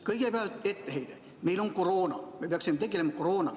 Kõigepealt etteheide: meil on koroona ja me peaksime tegelema koroonaga.